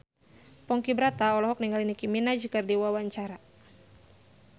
Ponky Brata olohok ningali Nicky Minaj keur diwawancara